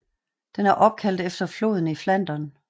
Den var opkaldt efter floden i Flandern